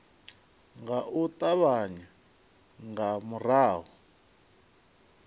nga u ṱavhanya nga murahu